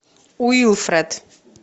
уилфред